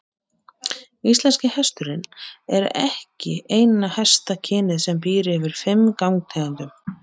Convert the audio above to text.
Íslenski hesturinn er ekki eina hestakynið sem býr yfir fimm gangtegundum.